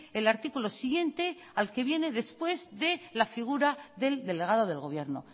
el artículo siguiente al que viene después de la figura del delegado del gobierno